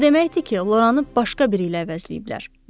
O deməkdir ki, Loranı başqa biri ilə əvəzləyiblər.